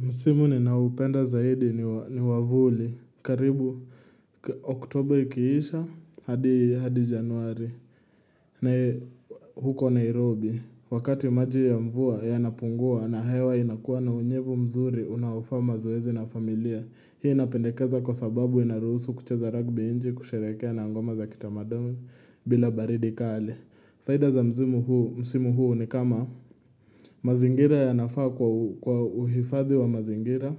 Msimu ninaoupenda zaidi ni wa vuli, karibu oktober ikiisha, hadi januari, na huko Nairobi, wakati maji ya mvua yanapungua na hewa inakuwa na unyevu mzuri unaofaa mazoezi na familia, hii napendekeza kwa sababu inaruhusu kucheza ragbi nje, kusherehekea na ngoma za kitamaduni bila baridi kali. Faida za msimu huu ni kama mazingira yanafaa kwa uhifadhi wa mazingira